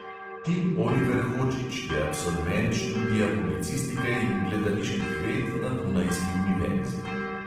Tim oliver hodžić je absolvent študija publicistike in gledaliških ved na dunajski univerzi.